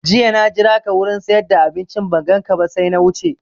Jiya na jiraka wurin siyar da abinci ban ganka ba sai na wuce